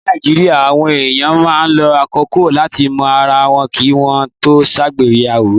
Ní Nàìjíríà, àwọn èèyàn máa ń lo àkókò láti mọ ara wọn kí wọ́n tó ṣègbéyàwó.